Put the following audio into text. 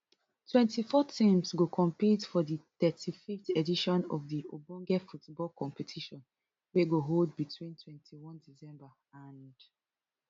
twenty-four teams go compete for di thirty-fiveth edition of di ogbonge football competition wey go hold between twenty-one december and